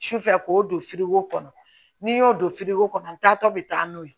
Sufɛ k'o don firiko kɔnɔ n'i y'o don firigo kɔnɔ n taatɔ bɛ taa n'o ye